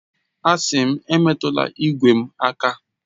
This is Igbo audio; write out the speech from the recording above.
Asị m, emetụla igwe m aka!